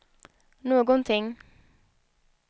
någonting